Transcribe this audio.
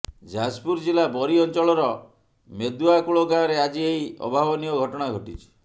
ଯାଜପୁର ଜିଲ୍ଲା ବରୀ ଅଞ୍ଚଳର ମେଦୁଆକୁଳ ଗାଁରେ ଆଜି ଏହି ଅଭାବନୀୟ ଘଟଣା ଘଟିଛି